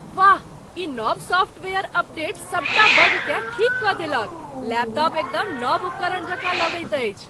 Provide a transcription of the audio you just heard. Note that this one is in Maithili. वाह, ई नव सॉफ़्टवेयर अपडेट सभटा बगकेँ ठीक कऽ देलक। लैपटॉप एकदम नव उपकरण जकाँ लगैत अछि!